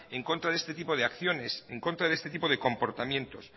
en contra de este tipo de acciones en contra de este tipo de comportamientos